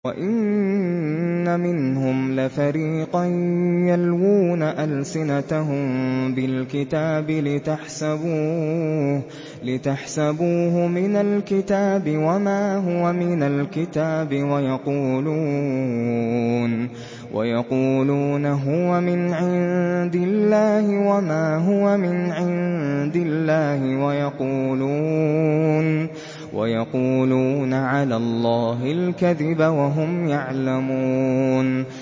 وَإِنَّ مِنْهُمْ لَفَرِيقًا يَلْوُونَ أَلْسِنَتَهُم بِالْكِتَابِ لِتَحْسَبُوهُ مِنَ الْكِتَابِ وَمَا هُوَ مِنَ الْكِتَابِ وَيَقُولُونَ هُوَ مِنْ عِندِ اللَّهِ وَمَا هُوَ مِنْ عِندِ اللَّهِ وَيَقُولُونَ عَلَى اللَّهِ الْكَذِبَ وَهُمْ يَعْلَمُونَ